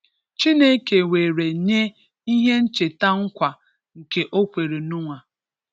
Chineke were nye ihe ncheta nkwa nke o kwere Noah.